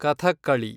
Kathakali